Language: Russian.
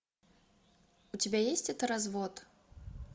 у тебя есть это развод